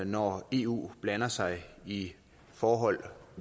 når eu blander sig i forhold